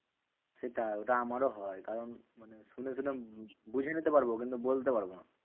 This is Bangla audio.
সেটা ওটা আমারও হয়, কারণ মানে শুনেছিলাম বুঝে নিতে পারবো কিন্তু বলতে পারবো না।